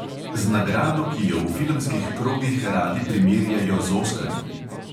Z nagrado, ki jo v filmskih krogih radi primerjajo z oskarji.